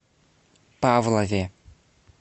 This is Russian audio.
павлове